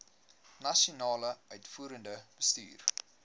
nasionale uitvoerende bestuur